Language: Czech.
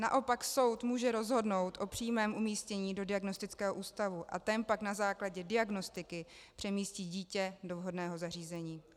Naopak soud může rozhodnout o přímém umístění do diagnostického ústavu a ten pak na základě diagnostiky přemístí dítě do vhodného zařízení.